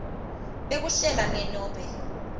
bekuhlela ne nobe